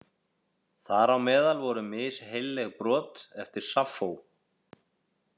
Þar á meðal voru misheilleg brot eftir Saffó.